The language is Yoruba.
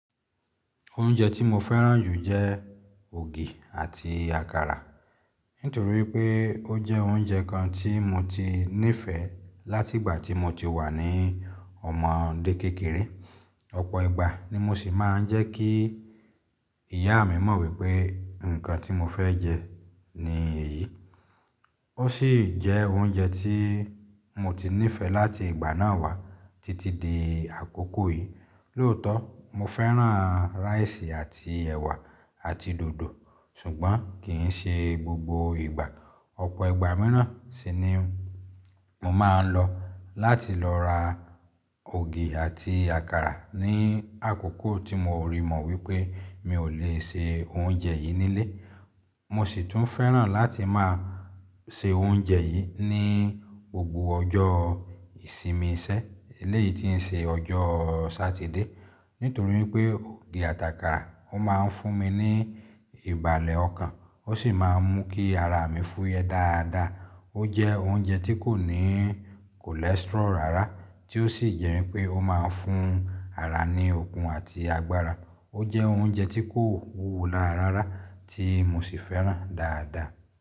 Oúnjẹ tí mo fẹ́ràn jù jẹ́ ògì àti àkàrà. Nítorí pé ó jẹ́ oúnjẹ kan tí mo ti nífẹ̀ẹ́ láti ìgbà tí mo ti wà ní ọmọdé kékeré. Ọ̀pọ̀ ìgbà ni mo sì máa ń jẹ́ kí ìyá mi mọ̀ wípé nǹkan tí mo fẹ́ jẹ ní èyí. Ó sì jẹ́ oúnjẹ tí mo ti nífẹ̀ẹ́ láti ìgbà náà wá títí di àkókò yìí. Lóòótọ́, mo fẹ́ràn ráìsì àti ẹ̀wà àti dòdò. Ṣùgbọ́n kì í ṣe gbogbo ìgbà. Ọ̀pọ̀ ìgbà míràn sì ni mo máa ń lọ láti lọ ra ògì àti àkàrà ní àkókò tí mo rí mọ̀ wípé mi ò lè se oúnjẹ yìí nílé. Mo sì tún fẹ́ràn láti máa se oúnjẹ yìí ní gbogbo ọjọ́ ìsinmi iṣẹ́ eléyìí tí ń ṣe ọjọ́ Sátidé. Nítorí pé ògì àti àkàrà ó máa ń fún mi ní ìbàlẹ̀ ọkàn ó sì máa ń mú kí ara mi fúyẹ́ dáadáa. Ó jẹ́ oúnjẹ tí kò ní kọ́lẹsítírọ́lù rárá tí ó sì jẹ́ wípé ó máa ń fún ara ní okun àti agbára. Ó jẹ́ oúnjẹ tí kò wúwo lára rárá tí mo sì fẹ́ràn dáadáa.